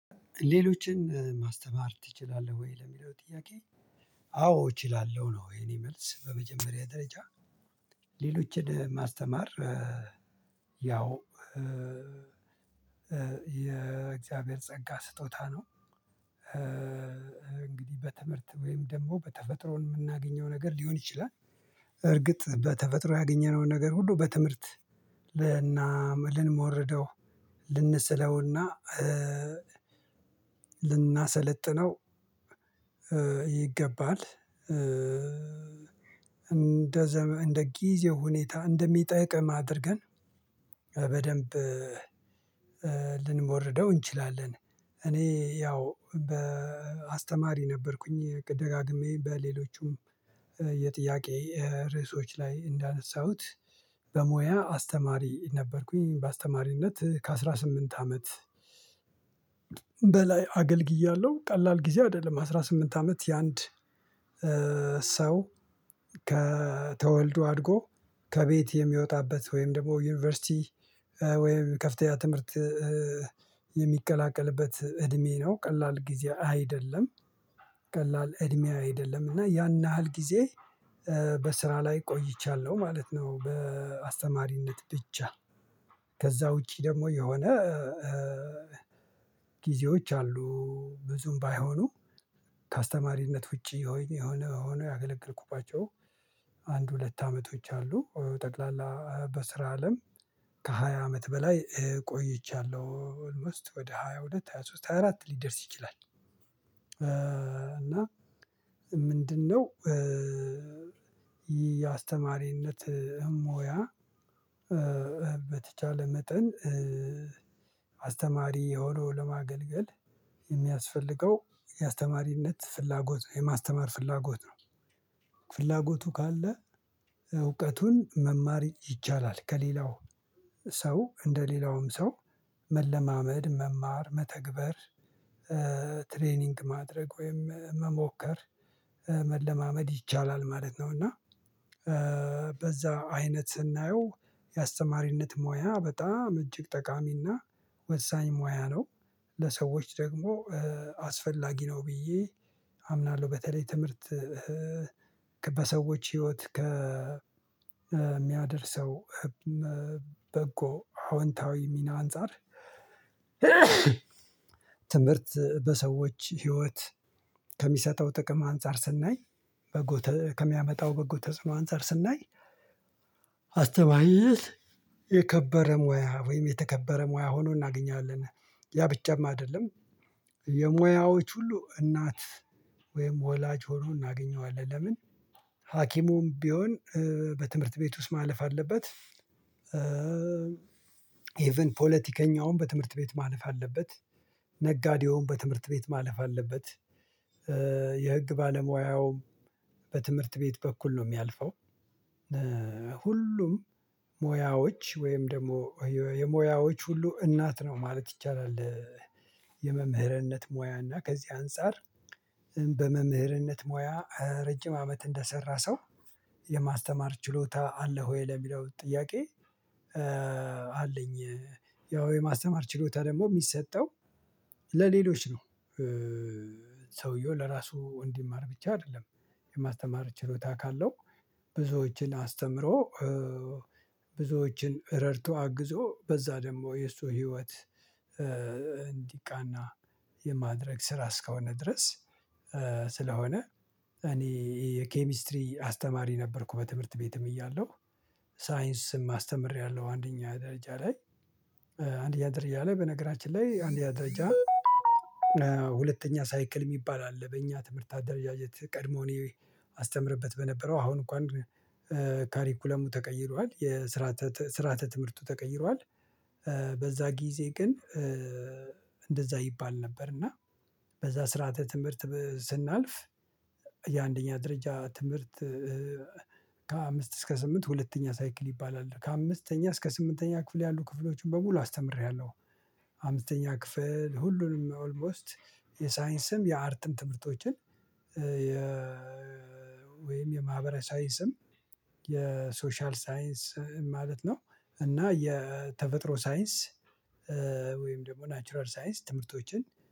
ሌሎችን ማስተማር ትችላለህ ወይ ለሚለው ጥያቄ? አዎ እችላለሁ ነው የኔ መልስ በመጀመሪያ ደረጃ ሌሎችን ማስተማር ያው የእግዚአብሔር ጸጋ ስጦታ ነው። እንግዲህ በትምህርት ወይም ደግሞ በተፈጥሮ የምናገኘው ነገር ሊሆን ይችላል። እርግጥ በተፈጥሮ ያገኘነውን ነገር ሁሉ በትምህርት ልናመልን ልንሞርደው ልንሰለውና ልናሰለጥነው ይገባል እንደ እንደ ጊዜ ሁኔታ እንደሚጠይቅም አድርገን በደንብ ልንሞርደው እንችላለን። እኔ ያው በአስተማሪ ነበርኩኝ ደጋግሜ በሌሎቹም የጥያቄ ርዕሶች ላይ እንዳነሳሁት በሙያ አስተማሪ ነበርኩኝ በአስተማሪነት ከአሥራ ስምንት አመት በላይ አገልግያለሁ። ቀላል ጊዜ አይደለም አስራ ስምንት አመት የአንድ ሰው ከተወልዶ አድጎ ከቤት የሚወጣበት ወይም ደግሞ ዩኒቨርሲቲ ወይም ከፍተኛ ትምህርት የሚቀላቀልበት እድሜ ነው ቀላል ጊዜ አይደለም ቀላል እድሜ አይደለም እና ያን ያህል ጊዜ በስራ ላይ ቆይቻለሁ ማለት ነው። በአስተማሪነት ብቻ ከዛ ውጪ ደግሞ የሆነ ጊዜዎች አሉ ብዙም ባይሆኑ ከአስተማሪነት ውጪ የሆነ የሆነ የሆነ ያገለገልኩባቸው አንድ ሁለት አመቶች አሉ። ጠቅላላ በስራ አለም ከሃያ አመት በላይ ቆይቻለሁ ኦልሞስት ወደ ሃያ ሁለት ሃያ ሶስት ሃያ አራት ሊደርስ ይችላል። እና ምንድነው? የአስተማሪነት ሙያ በተቻለ መጠን አስተማሪ የሆነው ለማገልገል የሚያስፈልገው የአስተማሪነት ፍላጎት የማስተማር ፍላጎት ነው። ፍላጎቱ ካለ እውቀቱን መማር ይቻላል ከሌላው ሰው እንደ ሌላውም ሰው መለማመድ መማር መተግበር ትሬኒንግ ማድረግ ወይም መሞከር መለማመድ ይቻላል ማለት ነው። እና በዛ አይነት ስናየው የአስተማሪነት ሙያ በጣም እጅግ ጠቃሚና ወሳኝ ሙያ ነው ለሰዎች ደግሞ አስፈላጊ ነው ብዬ አምናለሁ። በተለይ ትምህርት ከ በሰዎች ህይወት ከ ከሚያደርሰው በጎ አዎንታዊ ሚና አንፃር ትምህርት በሰዎች ህይወት ከሚሰጠው ጥቅም አንፃር ስናይ በጎ ከሚያመጣው በጎ ተጽኖ አንፃር ስናይ አስተማሪነት የከበረ ሙያ ወይም የተከበረ ሙያ ሆኖ እናገኛለን። ያ ብቻም አይደለም የሙያዎች ሁሉ እናት ወይም ወላጅ ሆኖ እናገኘዋለን ለምን ሀኪሙም ቢሆን በትምህርት ቤት ውስጥ ማለፍ አለበት። ፖለቲከኛውም በትምህርት ቤት ማለፍ አለበት። ነጋዴውን በትምህርት ቤት ማለፍ አለበት። የህግ ባለሙያውም በትምህርት ቤት በኩል ነው የሚያልፈው ሁሉም ሙያዎች ወይም ደግሞ የሙያዎች ሁሉ እናት ነው ማለት ይቻላል። የመምህርነት ሙያ እና ከዚህ አንፃር በመምህርነት ሙያ ረጅም አመት እንደሰራ ሰው የማስተማር ችሎታ አለ ወይ ለሚለው ጥያቄ? አለኝ ያው የማስተማር ችሎታ ደግሞ የሚሰጠው ለሌሎች ነው ሰውየው ለራሱ እንዲማር ብቻ አይደለም የማስተማር ችሎታ ካለው ብዙዎችን አስተምሮ ብዙዎችን ረድቶ አግዞ በዛ ደግሞ የሱ ህይወት እንዲቃና የማድረግ ስራ እስከሆነ ድረስ። ስለሆነ እኔ የኬሚስትሪ አስተማሪ ነበርኩ በትምህርት ቤትም እያለሁ ሳይንስም አስተምሬያለሁ። አንደኛ ደረጃ ላይ አንደኛ ደርጃ ላይ በነገራችን ላይ አንድኛ ደረጃ ሁለተኛ ሳይክል የሚባል አለ በእኛ ትምህርት አድረጃጀት ቀድሞ እኔ አስተምርበት በነበረው አሁን እንኳን ካሪኩለሙ ተቀይሯል የስራ ስራአተ ትምህርቱ ተቀይሯል። በዛ ጊዜ ግን እንደዛ ይባል ነበር እና በዛ ስርዓተ ትምህርት ስናልፍ የአንደኛ ድርጅት ትምህርት ከአምስት እስከ ስምንት ሁለተኛ ሳይክል ይባላል ከአምስተኛ እስከ ስምንተኛ ክፍል ያሉ ክፍሎችን በሙሉ አስተምሬያለሁ። አምስተኛ ክፍል ሁሉንም ኦልሞስት የሳይንስም የአርትም ትምህርቶችን የ ወይም የማህበረሰ ሳይንስም የሶሻል ሳይንስ ማለት ነው እና የተፈጥሮ ሳይንስ ወይም ደግሞ ናቹራል ሳይንስ ትምህርቶችን